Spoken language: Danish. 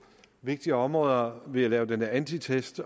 vigtige områder ved at lave den her antitest